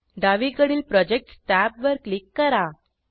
डावीकडील projects tab वर click करा